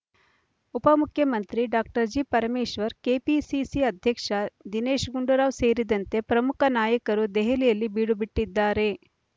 ಉಪಮುಖ್ಯಮಂತ್ರಿ doctor G Parameshwar KPCC ಅಧ್ಯಕ್ಷ ದಿನೇಶ್ ಗುಂಡೂರಾವ್ ಸೇರಿದಂತೆ ಪ್ರಮುಖ ನಾಯಕರು ದೆಹಲಿಯಲ್ಲಿ ಬೀಡುಬಿಟ್ಟಿದ್ದಾರೆ